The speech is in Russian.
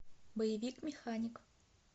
боевик механик